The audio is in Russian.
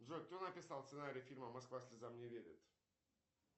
джой кто написал сценарий фильма москва слезам не верит